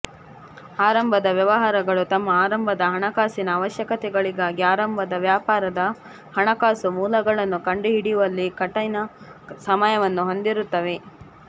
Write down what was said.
ಆರಂಭದ ವ್ಯವಹಾರಗಳು ತಮ್ಮ ಆರಂಭದ ಹಣಕಾಸಿನ ಅವಶ್ಯಕತೆಗಳಿಗಾಗಿ ಆರಂಭದ ವ್ಯಾಪಾರದ ಹಣಕಾಸು ಮೂಲಗಳನ್ನು ಕಂಡುಹಿಡಿಯುವಲ್ಲಿ ಕಠಿಣ ಸಮಯವನ್ನು ಹೊಂದಿರುತ್ತವೆ